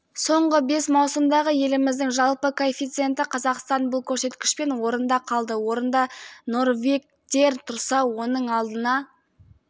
соңғы бес маусымдағы еліміздің жалпы коэффициенті қазақстан бұл көрсеткішпен орында қалды орында норвегтер тұрса оның алдына